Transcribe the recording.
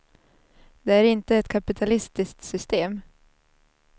Det är inte ett kapitalistiskt system.